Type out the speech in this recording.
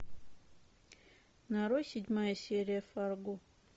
нарой седьмая серия фарго